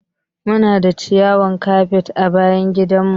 Muna da ciyawan kafet a bayan gidan mu.